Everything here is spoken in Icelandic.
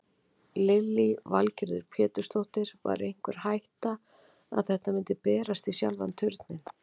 Lillý Valgerður Pétursdóttir: Var einhver hætta að þetta myndi berast í sjálfan Turninn?